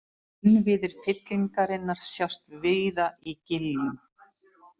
Innviðir fyllingarinnar sjást víða í giljum.